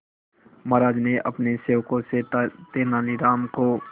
महाराज ने अपने सेवकों से तेनालीराम को